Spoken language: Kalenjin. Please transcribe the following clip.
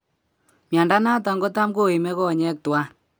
Miando natan kotamko ime konyek twan